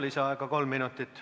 Lisaaeg kolm minutit.